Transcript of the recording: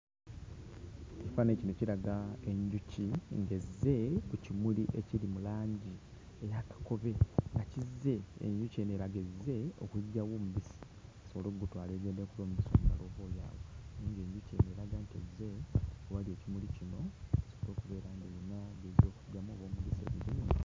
Ekifaananyi kino kiraga enjuki ng'ezze ku kimuli ekiri mu langi eya kakobe nga kizze, enjuki eno eraga ezze okuggyamu omubisi esobole okugutwala ekolemu omubisi omulala oboolyawo naye ng'enjuki eno eraga nti ezze ewali ekimuli kino esobole okubeera...